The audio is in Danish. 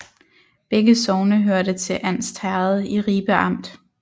Begge sogne hørte til Andst Herred i Ribe Amt